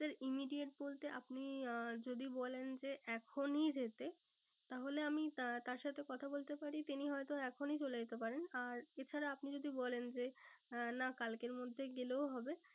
Sir immediate বলতে আপনি আহ যদি বলেন যে এখনই যেতে তাহলে আমি তার সাথে কথা বলতে পারি তিনি হয়তো এখনই চলে যেতে পারেন। আর এছাড়া আপনি যদি বলেন যে আহ না কালকের মধ্যে গেলেও হবে